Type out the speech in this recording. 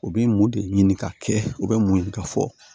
U bɛ mun de ɲini ka kɛ u bɛ mun ɲini ka fɔ